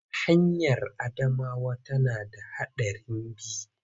Hanyar Adamawa tana da haɗarin bi.